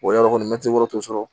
yɔrɔ kɔni mɛtiri wɔrɔ t'o sɔrɔ